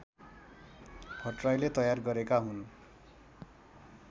भट्टराईले तयार गरेका हुन्